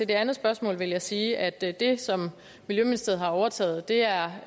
det andet spørgsmål vil jeg sige at det det som miljøministeriet har overtaget er